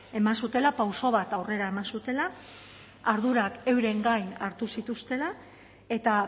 eman zutela pauso bat aurrera eman zutela ardurak euren gain hartu zituztela eta